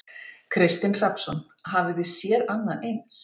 Kristinn Hrafnsson: Hafið þið séð annað eins?